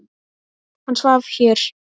Hann svaf hér.